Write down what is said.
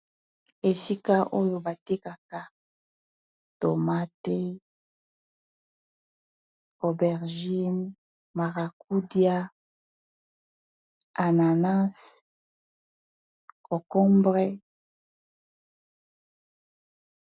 Esika oyo batekaka tomate, aubergine marakudia, ananas, concombre.